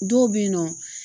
Dɔw be yen nɔ